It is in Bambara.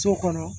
So kɔnɔ